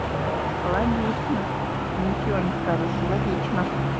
логично ничего не скажешь логично